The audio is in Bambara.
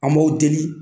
An b'o deli